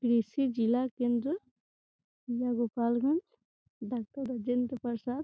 जिला केंद्र जिला गोपाल गंज डॉक्टर राजेंद्र प्रसाद--